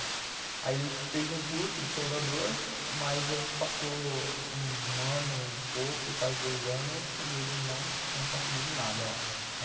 Aí ele fez um curso de soldador, mas a gente passou um ano e pouco, quase dois anos, e ele não tinha conseguido nada lá.